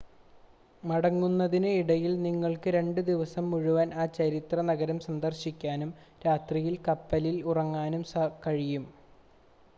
മടങ്ങുന്നതിന് ഇടയിൽ നിങ്ങൾക്ക് രണ്ട് ദിവസം മുഴുവൻ ആ ചരിത്ര നഗരം സന്ദർശിക്കാനും രാത്രിയിൽ കപ്പലിൽ ഉറങ്ങാനും കഴിയും